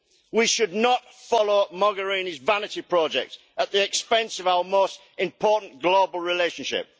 We should not follow Mogherini's vanity project at the expense of our most important global relationship.